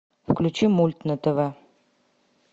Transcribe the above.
включи мульт на тв